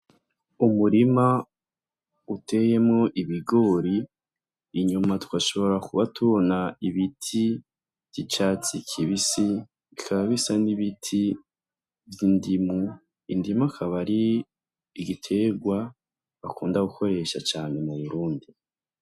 Umurima uteyemwo ibigori, inyuma twoshobora kuba tubona ibiti vy'icatsi kibisi, bikaba bisa n'ibiti vy'indimu. Indimu ikaba ari igiterwa bakunda gukoresha cane mu Burundi.